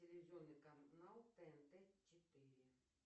телевизионный канал тнт четыре